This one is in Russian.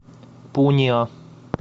пунья